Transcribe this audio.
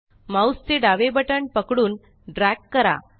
mouse चे डावे button पकडूनdrag करा